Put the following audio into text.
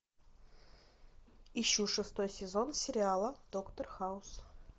ищу шестой сезон сериала доктор хаус